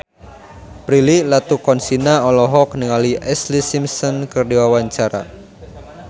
Prilly Latuconsina olohok ningali Ashlee Simpson keur diwawancara